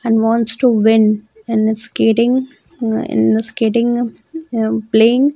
And wants to win in a skating ah in a skating um playing.